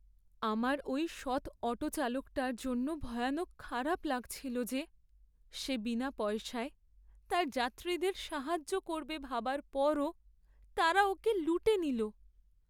আমার ওই সৎ অটো চালকটার জন্য ভয়ানক খারাপ লাগছিল যে, সে বিনা পয়সায় তার যাত্রীদের সাহায্য করবে ভাবার পরও তারা ওকে লুটে নিল!